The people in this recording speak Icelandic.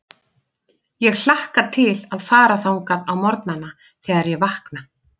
Ég hlakka til að fara þangað á morgnana, þegar ég vakna.